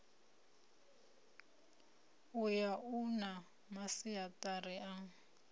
uyu u na masiaṱari a